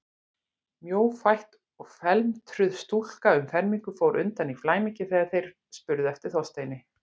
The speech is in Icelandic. Mjófætt og felmtruð stúlka um fermingu fór undan í flæmingi þegar þeir spurðu eftir Þorsteini.